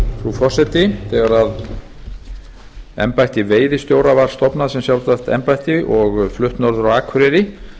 frú forseti þegar embætti veiðistjóra var stofnað sem sjálfstætt embætti og flutt norður á akureyri